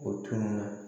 O tun na